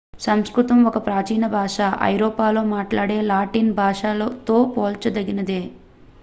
సంస్కృతం ఒక ప్రాచీన భాష ఐరోపాలో మాట్లాడే లాటిన్ భాషతో పోల్చదగినదే